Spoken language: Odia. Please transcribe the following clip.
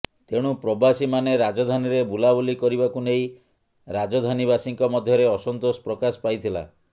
ତେଣୁ ପ୍ରବାସୀମାନେ ରାଜଧାନୀରେ ବୁଲାବୁଲି କରିବାକୁ ନେଇ ରାଜଧାନୀବାସୀଙ୍କ ମଧ୍ୟରେ ଅସନ୍ତୋଷ ପ୍ରକାଶ ପାଇଥିଲା